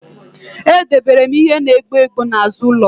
Edebere m ihe na-egbu egbu n'azụ ụzọ